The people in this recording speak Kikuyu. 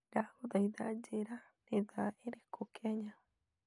Ndagũthaitha njĩĩra nĩ thaa irĩkũ Kenya